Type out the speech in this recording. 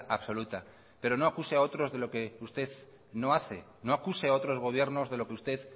absoluta pero no acuse a otros de lo que usted no hace no acuse a otros gobiernos de lo que usted